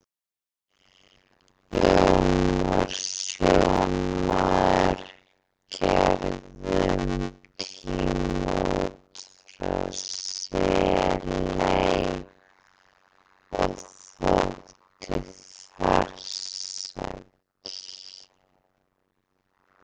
Jón var sjómaður, gerði um tíma út frá Seley og þótti farsæll.